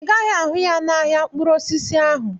Ị gaghị ahụ ya n'ahịa mkpụrụ osisi ahụ.